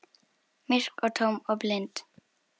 Myrk og tóm og blind.